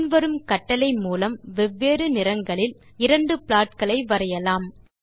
பின் வரும் கட்டளை மூலம் வெவ்வேறு நிறங்களில் இரண்டு ப்ளாட் களை வரையலாம்